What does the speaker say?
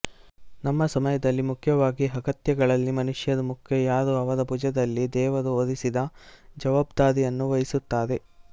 ನಮ್ಮ ಸಮಯದಲ್ಲಿ ಮುಖ್ಯವಾದ ಅಗತ್ಯತೆಗಳಲ್ಲಿ ಮನುಷ್ಯರು ಮುಖ್ಯ ಯಾರು ಅವರ ಭುಜದಲ್ಲಿ ದೇವರು ಹೊರಿಸಿದ ಜವಾಬ್ದಾರಿಯನ್ನು ವಹಿಸುತ್ತಾರೆ